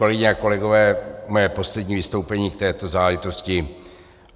Kolegyně a kolegové, mé poslední vystoupení k této záležitosti.